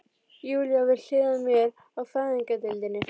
Júlía við hlið mér á fæðingardeildinni.